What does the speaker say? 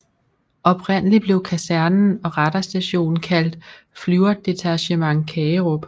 Oprindelig blev kasernen og radarstationen kaldt Flyverdetachement Kagerup